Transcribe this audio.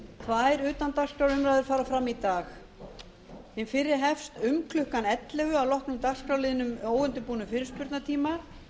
tvær utandagskrárumræður fara fram í dag hin fyrri hefst um klukkan ellefu að loknum dagskrárliðnum óundirbúnum fyrirspurnatíma